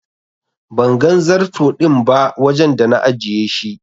Ban gan zarto din ba wajen da na ajiye shi.